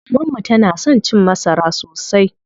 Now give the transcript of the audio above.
Maman mu tana son cin masara sosai.